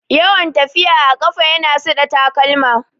Yawan tafiya a ƙafa ya na suɗe takalma